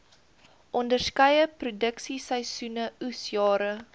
onderskeie produksieseisoene oesjare